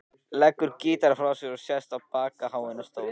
Leggur gítarinn frá sér og sest í bakháan stól.